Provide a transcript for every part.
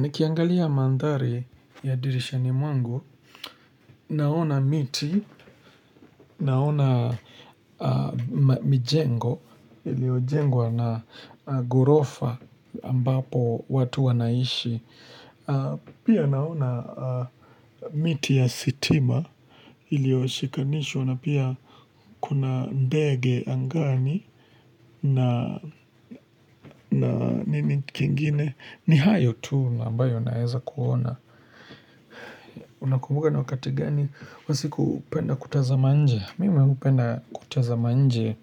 Nikiangalia mandhari ya dirishani mwangu, naona miti, naona mijengo, iliyojengwa na ghorofa ambapo watu wanaishi, pia naona miti ya stima, iliyoshikanishwa na pia kuna ndege angani na nini kingine, ni hayo tu ambayo naeza kuona. Unakumbuka ni wakati gani usiku hupenda kutazama nje? Mimi hupenda kutazama nje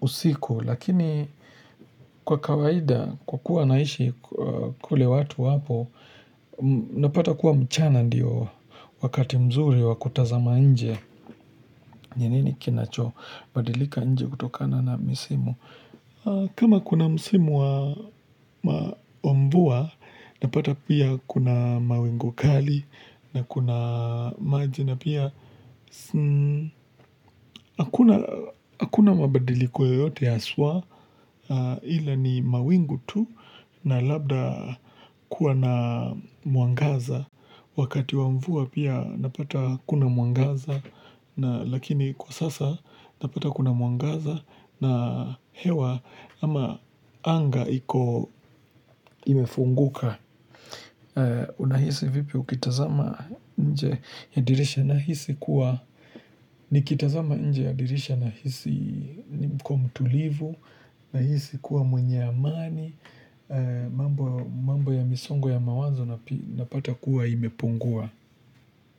usiku Lakini kwa kawaida kwa kuwa naishi kule watu wapo Napata kuwa mchana ndiyo wakati mzuri wa kutazama nje ni nini kinachobadilika nje kutokana na misimu kama kuna misimu wa mvua Napata pia kuna mawingu kali na kuna maji na pia Hakuna mabadiliko yoyote haswa Ila ni mawingu tu na labda kuwa na mwangaza Wakati wa mvua pia unapata hakuna mwangaza Lakini kwa sasa napata kuna mwangaza na hewa ama anga iko imefunguka Unahisi vipi ukitazama nje ya dirisha Nahisi kuwa, nikitazama nje ya dirisha nahisi niko mtulivu Nahisi kuwa mwenye amani mambo ya misongo ya mawazo napata kuwa imepungua.